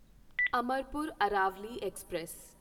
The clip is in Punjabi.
ਅਮਰਪੁਰ ਅਰਾਵਲੀ ਐਕਸਪ੍ਰੈਸ